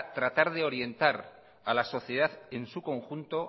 tratar de orientar a la sociedad en su conjunto